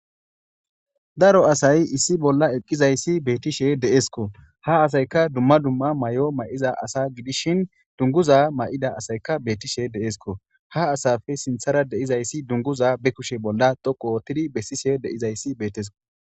daro asay issi bolla eqqizayssi beetishe deesko ha asayka dumma dumma may7o may7iza asa gidishin dunguza may7ida asayka beettishe deesko ha asafe sinthara deizayssi dunguza be kushe bolla dhoqo ootidi bessishe deizayssi beetesko